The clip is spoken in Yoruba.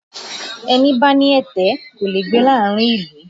Ẹni bá ní ẹ̀tẹ̀ kò lè gbé láàárín ìlú